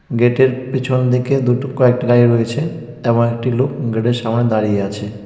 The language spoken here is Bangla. গেটের পিছন দিকে দুটো কয়েকটি গাড়ি রয়েছে এবং একটি লোক গেটের সামনে দাঁড়িয়ে আছে.